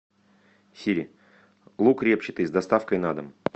сири лук репчатый с доставкой на дом